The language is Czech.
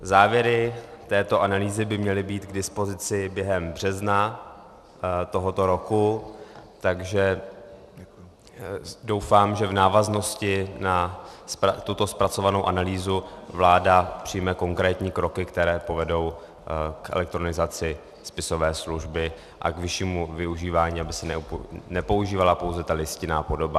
Závěry této analýzy by měly být k dispozici během března tohoto roku, takže doufám, že v návaznosti na tuto zpracovanou analýzu vláda přijme konkrétní kroky, které povedou k elektronizace spisové služby a k vyššímu využívání, aby se nepoužívala pouze ta listinná podoba.